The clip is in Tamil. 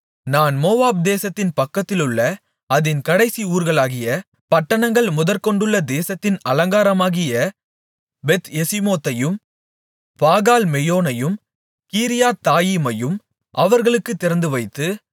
நான் மோவாப் தேசத்தின் பக்கத்திலுள்ள அதின் கடைசி ஊர்களாகிய பட்டணங்கள் முதற்கொண்டுள்ள தேசத்தின் அலங்காரமாகிய பெத்யெசிமோத்தையும் பாகால்மெயோனையும் கீரியாத்தாயீமையும் அவர்களுக்குத் திறந்துவைத்து